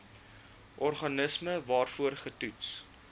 organisme waarvoor getoets